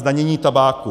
Zdanění tabáku.